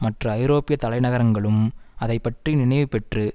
மற்ற ஐரோப்பிய தலை நகரங்களும் அதை பற்றி நினைவு பெற்று